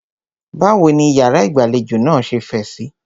Báwo ní ìyàrá ìgbàlejò náà ṣe fẹ̀ síí?